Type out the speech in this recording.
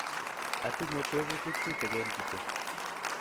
atinye tebutik tutegen kityo